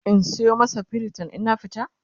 in Sayo masa pritin in na fita?